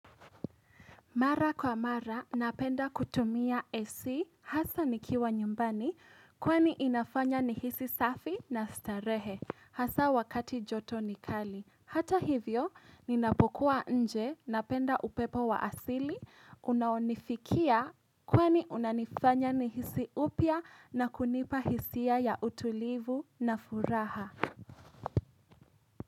Mara kwa mara, napenda kutumia esi, hasa nikiwa nyumbani, kwani inafanya nihisi safi na starehe, hasa wakati joto nikali. Hata hivyo, ninapokuwa nje, napenda upepo wa asili, unaonifikia, kwani unanifanya nihisi upya na kunipa hisia ya utulivu na furaha.